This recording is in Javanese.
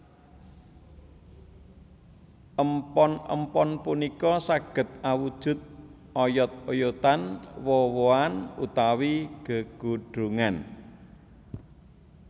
Empon empon punika saged awujud oyod oyodan woh wohan utawi gegodhongan